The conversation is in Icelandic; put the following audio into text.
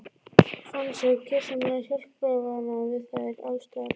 Fann sig gersamlega hjálparvana við þær aðstæður.